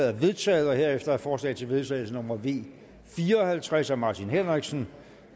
er vedtaget herefter er forslag til vedtagelse nummer v fire og halvtreds af martin henriksen